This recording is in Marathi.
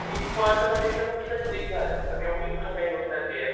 ही फळ तर म्हणजे एकदम ड्रिंक झालंय कारण एवढी महागाई होत चालली आहे.